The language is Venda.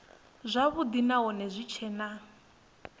zwavhudi nahone hu tshee na